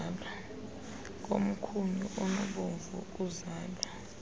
komkhunyu onobomvu okuzala